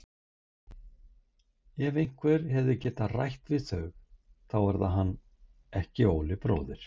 Ef einhver hefur getað rætt við þau þá er það hann, ekki Óli bróðir.